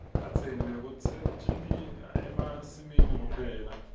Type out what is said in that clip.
kadzeni bekusetjentwa emasimini kuphela